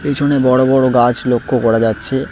পিছনে বড় বড় গাছ লক্ষ করা যাচ্ছে।